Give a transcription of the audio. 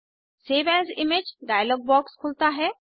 save as image dialog box खुलता है